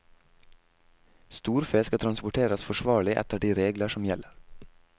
Storfe skal transporteres forsvarlig etter de regler som gjelder.